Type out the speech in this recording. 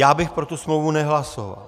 Já bych pro tu smlouvu nehlasoval.